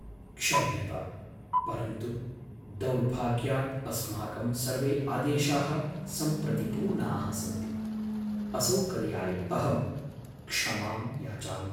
क्षम्यताम्, परन्तु दौर्भाग्यात् अस्माकं सर्वे आदेशाः सम्प्रति पूर्णाः सन्ति। असौकर्याय अहं क्षमां याचामि।